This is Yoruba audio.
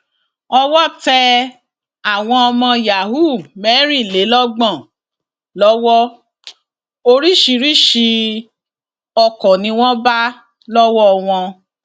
owó tẹ àwọn ọmọ yahoo mẹrìnlélọgbọn lọwọ oríṣiríṣii ọkọ ni wọn bá lọwọ wọn